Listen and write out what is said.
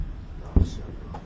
Maşallah.